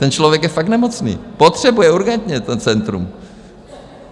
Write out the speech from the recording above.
Ten člověk je fakt nemocný, potřebuje urgentně to centrum.